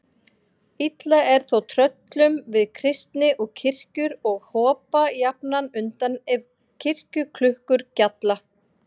Illa er þó tröllum við kristni og kirkjur og hopa jafnan undan ef kirkjuklukkur gjalla.